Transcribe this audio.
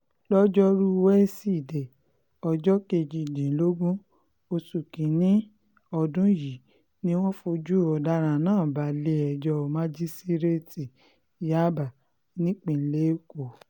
lọ́jọ́rùú wíṣídẹ̀ẹ́ ọjọ́ kejìdínlógún oṣù kín-ín-ní ọdún yìí ni wọ́n fojú ọ̀daràn náà balẹ̀-ẹjọ́ májísíréètì yàbá nípìnlẹ̀ èkó